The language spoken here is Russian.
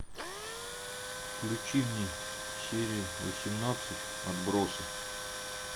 включи мне серии восемнадцать отбросы